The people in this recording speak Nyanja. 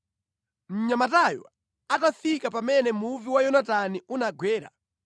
Mnyamatayo atafika pamene muvi wa Yonatani unagwera,